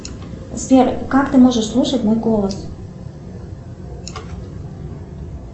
сбер как ты можешь слушать мой голос